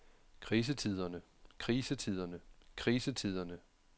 krisetiderne krisetiderne krisetiderne